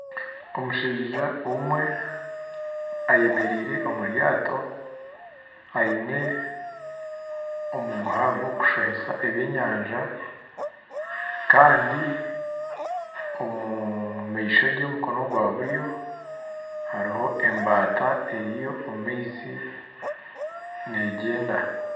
Omushaija omwe ayemereire omuryato aine omuguha gwokushohesa eby'enyanja kandi omumaishoge omukono gwaburyo haruho embata eriyo omumaizi negyenda.